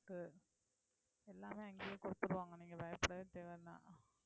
எல்லாமே அங்கேயே கொடுத்திருவாங்க நீங்க பயப்படவே தேவையில்லை